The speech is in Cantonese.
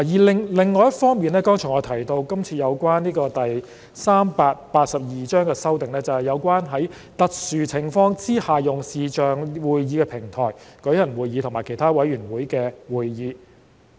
另一方面，我剛才也提到今次對第382章的另一修訂，就是在特殊情況下採用視像會議平台舉行立法會會議和其他委員會的會議。